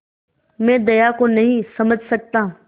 मैं दया को नहीं समझ सकता